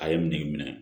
A ye nege minɛ